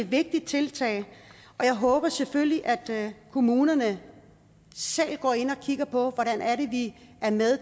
vigtigt tiltag og jeg håber selvfølgelig at kommunerne selv går ind og kigger på hvordan vi er med